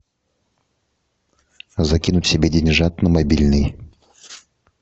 закинуть себе деньжат на мобильный